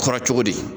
Kɔrɔ cogo di